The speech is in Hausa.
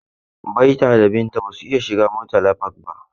Baita da Binta ba su iya shiga Murtala Park ba.